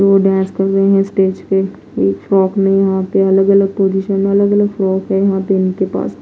वो डांस कर रहे हैं स्टेज पे इच फ्रॉक में यहां पे अलग अलग पोजीशन अलग-अलग फ्रॉक पे यहां पे इनके पास --